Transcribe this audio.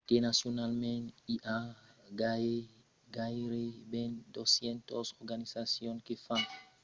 internacionalament i a gaireben 200 organizacions que fan de visitas toristicas. la màger part d’elas foncionan independentament